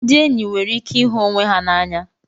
Ndị enyi nwekwara ike ịhụ onwe ha n'anya.